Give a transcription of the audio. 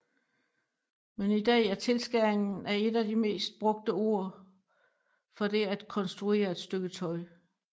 Men i dag er tilskæring et af de mest brugte ord for det at konstruere et stykke tøj